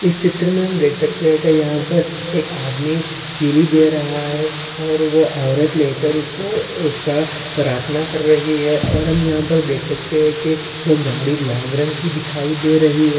इस चित्र मे हम देख सकते है की यहापर एक आदमी कीली दे रहा है और वो औरत लेकर उसको अह उसका प्रार्थना कर रही है और हम यहापर देख सकते है की वो गाड़ी लाल रंग की दिखाई दे रही है।